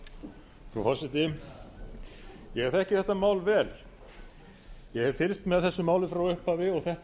frú forseti ég þekki þetta mál vel ég hef fylgst með þessu máli frá upphafi og þetta mál er